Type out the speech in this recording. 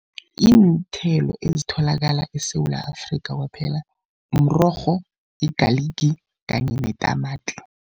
Iinthelo ezitholakala eSewula Afrikha kwaphela mrorho, igaligi kanye netamati.